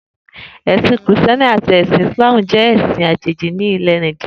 È̩sìn Krìsté̩ni àti Ìsláàmù jé̩ è̩sin àjèjì nílè̩ Nàìjíríà